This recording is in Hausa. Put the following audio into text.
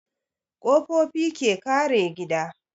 Ƙofofi ke kare gida